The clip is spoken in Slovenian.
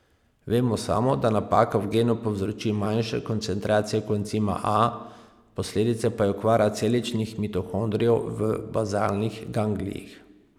Vemo samo, da napaka v genu povzroči manjše koncentracije koencima A, posledica pa je okvara celičnih mitohondrijev v bazalnih ganglijih.